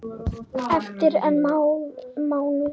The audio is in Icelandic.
Eftir einn mánuð?